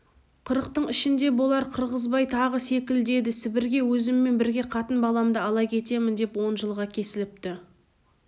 қырықтың ішінде болар қырғызбай тағы селкілдеді сібірге өзіммен бірге қатын-баламды ала кетемін деп он жылға кесіліпті